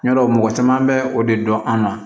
Yadɔ mɔgɔ caman bɛ o de dɔn an na